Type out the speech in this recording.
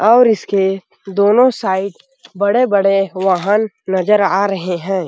और इसके दोनों साइड बड़े-बड़े वाहान नज़र आ रहे है।